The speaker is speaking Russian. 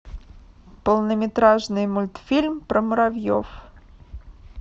полнометражный мультфильм про муравьев